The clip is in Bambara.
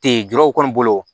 Ten jɛgɛw kɔni bolo